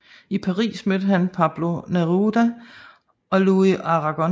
I Paris mødte han Pablo Neruda og Louis Aragon